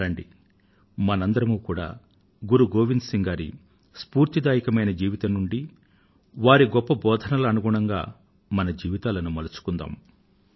రండి మనమంతా గురు గోవింద్ సింగ్ గారి స్ఫూర్తిదాయకమైన జీవితం నుండి వారి గొప్ప బోధనల ప్రకారం మన జీవితాలను మలచుకుందాం